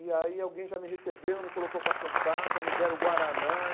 E aí alguém já me recebeu, me colocou para sentar, já me deram o Guaraná.